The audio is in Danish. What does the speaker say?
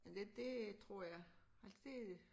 Men det det tror jeg altså det